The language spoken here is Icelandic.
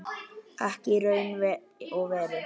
Ekki í raun og veru.